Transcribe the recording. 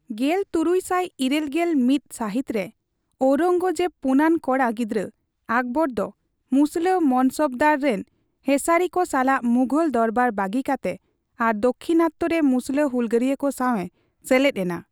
ᱜᱮᱞ ᱛᱩᱨᱩᱭ ᱥᱟᱭ ᱤᱨᱟᱹᱞ ᱜᱮᱞ ᱢᱤᱛ ᱥᱟᱹᱦᱤᱛ ᱨᱮ ᱳᱨᱚᱸᱜᱽᱡᱮᱵᱤᱡ ᱯᱩᱱᱟᱹᱱ ᱠᱚᱲᱟ ᱜᱤᱫᱽᱨᱟᱹ ᱟᱠᱵᱚᱨ ᱫᱚ ᱢᱩᱥᱞᱟᱹ ᱢᱚᱱᱥᱚᱵᱫᱟᱨ ᱨᱤᱱ ᱦᱮᱸᱥᱟᱨᱤ ᱠᱚ ᱥᱟᱞᱟᱜ ᱢᱩᱜᱚᱞ ᱫᱚᱨᱵᱟᱨ ᱵᱟᱹᱜᱤ ᱠᱟᱛᱮ ᱟᱨ ᱫᱟᱠᱠᱷᱤᱱᱟᱛᱚ ᱨᱮ ᱢᱩᱥᱞᱟᱹ ᱦᱩᱞᱜᱟᱹᱨᱤᱭᱟᱹ ᱠᱚ ᱥᱟᱣ ᱮ ᱥᱮᱞᱮᱫ ᱮᱱᱟ ᱾